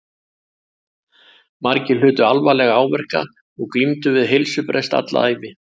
Margir hlutu alvarlega áverka og glímdu við heilsubrest alla ævi.